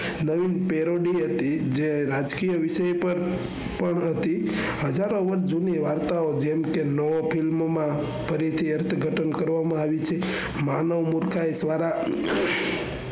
નવીન હતી જે રાજકીય વિષયો પર હતી. હજારો વર્ષ જૂની વાર્તાઓ જેમ કે ફિલ્મમાં ફરી થી અર્થઘટન કરવામાં આવી છે. માનવ મૂરખાઈ દ્વારા